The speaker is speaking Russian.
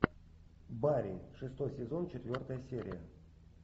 барин шестой сезон четвертая серия